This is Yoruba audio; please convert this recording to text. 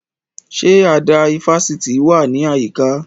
Ṣé àdá ifásitì wà ní àyíká?